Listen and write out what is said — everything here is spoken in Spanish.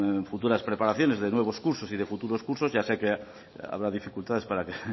en futuras preparaciones de nuevos cursos y de futuros cursos ya sé que habrá dificultades para que el